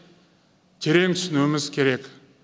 терең түсінуіміз керек